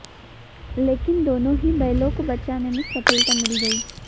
लेकिन दोनों ही बैलों को बचाने में सफलता मिल गई